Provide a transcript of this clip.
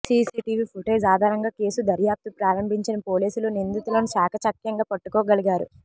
CC TV footage ఆధారంగా case దర్యాప్తు ప్రారంభించిన పోలీసులు నిందితులను చాకచక్యంగా పట్టుకోగలిగారు